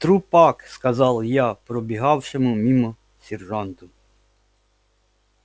трупак сказал я пробегавшему мимо сержанту